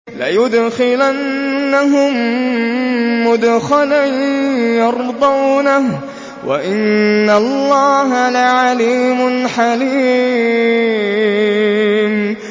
لَيُدْخِلَنَّهُم مُّدْخَلًا يَرْضَوْنَهُ ۗ وَإِنَّ اللَّهَ لَعَلِيمٌ حَلِيمٌ